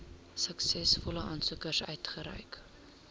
suksesvolle aansoekers uitgereik